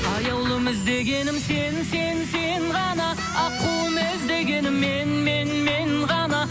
аяулым іздегенім сен сен сен ғана аққуым іздегенің мен мен мен ғана